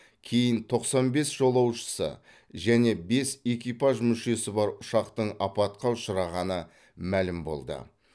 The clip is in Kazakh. кейін тоқсан бес жолаушысы және бес экипаж мүшесі бар ұшақтың апатқа ұшырағаны мәлім болды